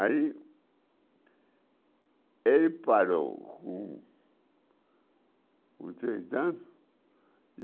Aí... Ele parou com com três.